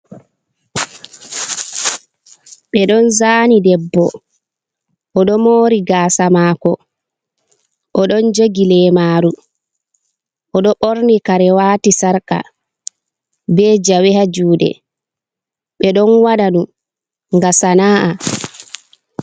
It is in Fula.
Ɓe don zani debbo, o ɗo mori gasa mako, o ɗon jogi leemaru, o ɗo borni karewati sarka, be jawe ha juɗe, ɓe ɗon waɗa ɗum ga sana’a.